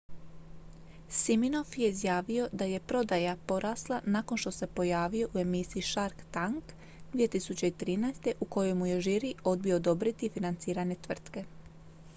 siminoff je izjavio da je prodaja porasla nakon što se pojavio u emisiji shark tank 2013 u kojoj mu je žiri odbio odobriti financiranje tvrtke